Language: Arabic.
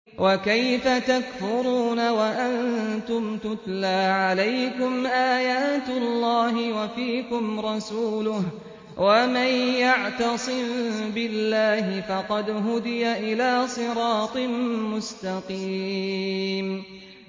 وَكَيْفَ تَكْفُرُونَ وَأَنتُمْ تُتْلَىٰ عَلَيْكُمْ آيَاتُ اللَّهِ وَفِيكُمْ رَسُولُهُ ۗ وَمَن يَعْتَصِم بِاللَّهِ فَقَدْ هُدِيَ إِلَىٰ صِرَاطٍ مُّسْتَقِيمٍ